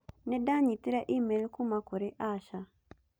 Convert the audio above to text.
Nĩ ndanyitire e-mail kuuma kũrĩ Asha